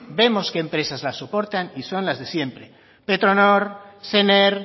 vemos que empresas las soportan y son las de siempre petronor sener